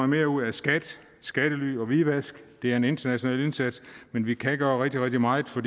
mere ud af skat skattely og hvidvask det er en international indsats men vi kan gøre rigtig rigtig meget for